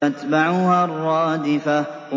تَتْبَعُهَا الرَّادِفَةُ